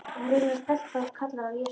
Hún heyrir að stelpan kallar á Jesú.